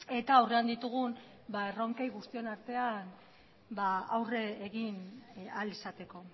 eta aurrean ditugun erronkei guztion artean aurre egin ahal izateko